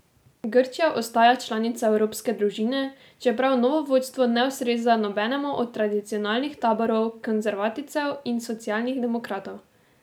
Grčija ostaja članica evropske družine, čeprav novo vodstvo ne ustreza nobenemu od tradicionalnih taborov konservativcev in socialnih demokratov.